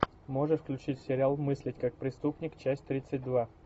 можешь включить сериал мыслить как преступник часть тридцать два